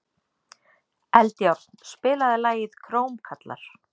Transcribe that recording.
Eldjárn, spilaðu lagið „Krómkallar“.